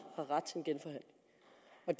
har